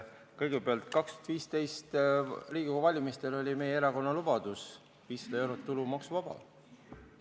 Kõigepealt, 2015. aasta Riigikogu valimistel oli meie erakonna lubadus, et 500 eurot on tulumaksuvaba.